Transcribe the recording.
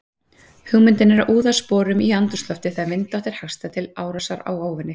Hugmyndin er að úða sporum í andrúmsloftið þegar vindátt er hagstæð til árásar á óvini.